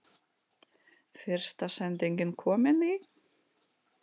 Fyrsta sendingin komin í?